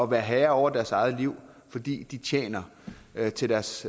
være herre over deres eget liv fordi de tjente til deres